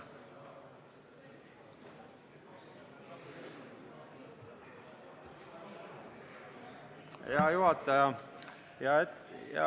Hea juhataja!